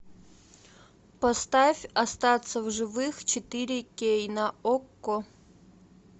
поставь остаться в живых четыре кей на окко